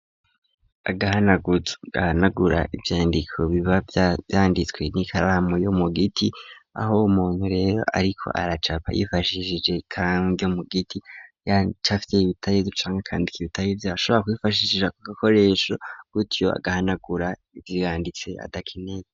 Agahanagura ivyandiko biba byanditswe n'ikaramu yo mu giti aho umuntu rero ariko aracapa yifashishije ikangyo mu giti yacafite ibitaye ducanga kandik ibitaye vyashobora kubifashishisha ku gakoresho gutyo agahanagura biwanditse adakine.